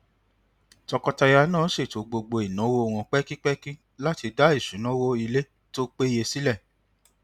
tọkọtaya náà ṣètò gbogbo ináwó wọn pẹkipẹki láti dá isunawo ilé tó péye sílẹ